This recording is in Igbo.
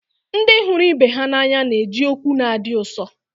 Ndị hụrụ ibe ha n'anya na-eji okwu na-adi ụsọ